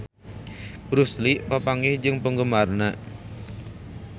Bruce Lee papanggih jeung penggemarna